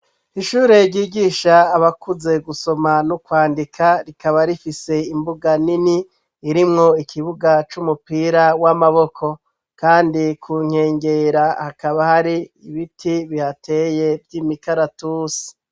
Ishure ryigisha abakuze gusoma no kwandika, rikaba rifise imbuga nini irimwo ikibuga c'umupira w'amaboko, kandi ku nkengera hakaba hari ibiti bihateye vy'imikaratusi.